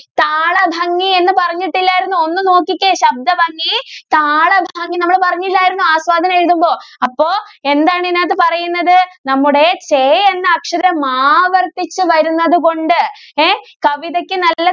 താളഭംഗി എന്ന് പറഞ്ഞിട്ടില്ലായിരുന്നോ ഒന്ന് നോക്കിക്കേ ശബ്ദ ഭംഗി താള ഭംഗി നമ്മൾ പറഞ്ഞില്ലാർന്നോ ആസ്വാദനം എഴുതുമ്പോ അപ്പൊ എന്താണ് ഇതിനകത്തു പറയുന്നത് നമ്മുടെ കെ എന്ന അക്ഷരം ആവർത്തിച്ചു വരുന്നത് കൊണ്ട് എഹ് കവിതയ്ക്ക് നല്ല